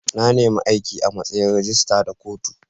Na nima aiki a' matsayin rijistira da kotu.